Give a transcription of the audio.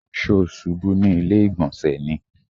Ṣó ṣubú ní ilé ìgbọ̀nsẹ̀ ni?